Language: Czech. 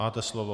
Máte slovo.